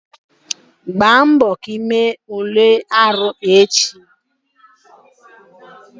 Gbaa mbọ ka ị mee Ule arụ echi!